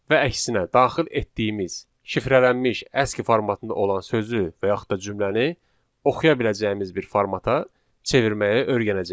və əksinə daxil etdiyimiz şifrələnmiş aski formatında olan sözü və yaxud da cümləni oxuya biləcəyimiz bir formata çevirməyi öyrənəcəyik.